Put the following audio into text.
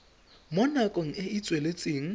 mo nakong e e tsweletseng